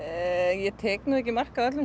ég tek nú ekki mark á öllum